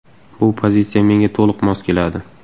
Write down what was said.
Bu pozitsiya menga to‘liq mos keladi.